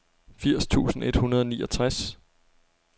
firs tusind et hundrede og niogtres